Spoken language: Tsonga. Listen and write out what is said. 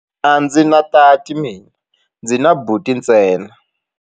A ndzi na tati mina, ndzi na buti ntsena.